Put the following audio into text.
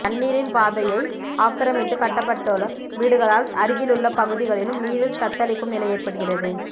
தண்ணீரின் பாதைய ஆக்கிரமித்து கட்டப்பட்ட வீடுகளால் அருகில் உள்ள பகுதிகளும் நீரில் தத்தளிக்கும் நிலை ஏற்படுகிறது